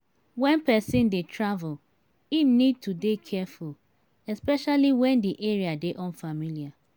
when person dey travel im need to dey careful especially when di area dey unfamiliar